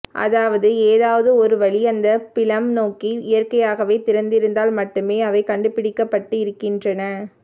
அதாவது ஏதாவது ஒரு வழி அந்த பிலம் நோக்கி இயற்கையாகவே திறந்திருந்தால் மட்டுமே அவை கண்டுபிடிக்கப்பட்டிருக்கின்றன